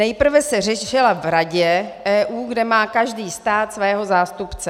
Nejprve se řešila v Radě EU, kde má každý stát svého zástupce.